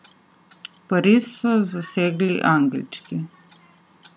Pariz so zasedli angelčki.